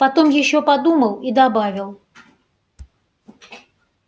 потом ещё подумал и добавил